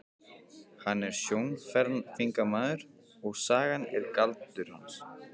Hann er sjónhverfingamaður og sagan er galdur hans.